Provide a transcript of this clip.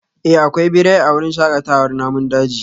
Eh akwai birai a wurin shakatawar namun daji